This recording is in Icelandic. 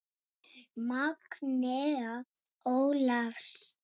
Magnea Ólafs.